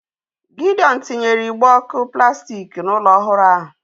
Gidiọn tinyere igbe ọ̀kụ plastik n'ụlọ ọhụrụ ya